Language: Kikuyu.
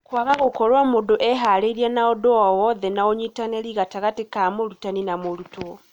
Kũaga gũkorwo mũndũ eharĩirie na ũndũ o wotheũ na ũnyitanĩri gatagatĩ ka mũrutani ma mũrutwo.